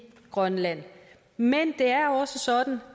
grønland men det er også sådan